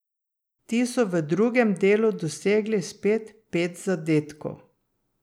Ti so v drugem delu dosegli spet pet zadetkov.